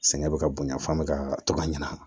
Sɛgɛn bɛ ka bonya f'an be ka to ka ɲanabɔ